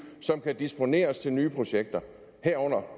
som kan disponeres til nye projekter herunder